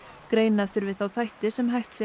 greina þurfi þá þætti sem hægt sé